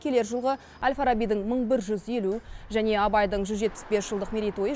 келер жылғы әл фарабидің мың бір жүз елу және абайдың жүз жетпіс бес жылдық мерейтойы